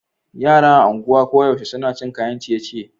Yara a anguwa koyaushe suna cin kayan ciye-ciye.